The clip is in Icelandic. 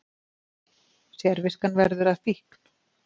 Sérviskan verður að fíkn